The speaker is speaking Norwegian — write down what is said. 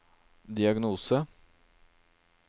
diagnose